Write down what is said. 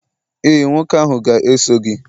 ee, nwoke ahụ ga-eso gị.